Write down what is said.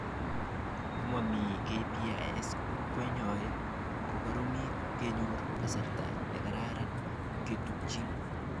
Komami KPIs koyae kokoromit kenyor kasarta nekararan kechutchin